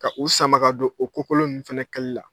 Ka u sama ka don o kokolon ninnu fana kali la.